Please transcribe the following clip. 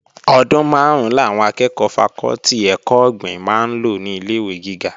Ọdún máàrún làwọn akẹ́ẹ̀kọ́ fakọ́tì ẹ̀kọ́ ọ̀gbìn máa lò ní ilé-ìwé gíga